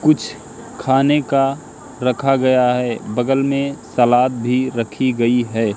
कुछ खाने का रखा गया है बगल में सलाद भी रखी गई है।